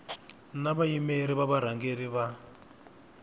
na vayimeri va varhangeri va